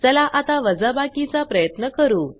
चला आता वाजबाकी चा प्रयत्न करू